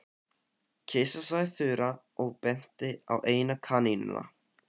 Kisa sagði Þura og benti á eina kanínuna.